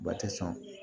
Ba tɛ sɔn